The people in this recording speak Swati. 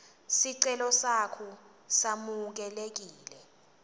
sicelo sakho samukelekile